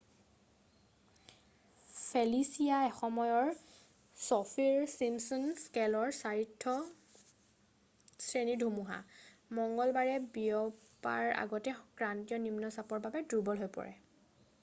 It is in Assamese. ফেলিছিয়া এসময়ৰ চফীৰ চিম্পচন স্কেলৰ 4ৰ্থ শ্ৰেণীৰ ধুমুহা মঙ্গলবাৰে বিয়পাৰ আগতে ক্ৰান্তীয় নিম্নচাপৰ বাবে দূৰ্বল হৈ পৰে